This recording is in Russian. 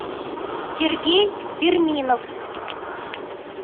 сергей перминов